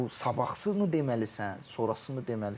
Bu sabahını deməlisən, sonrasını deməlisən.